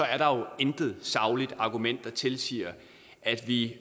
er der jo intet sagligt argument der tilsiger at vi